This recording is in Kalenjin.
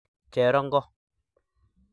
Cherongo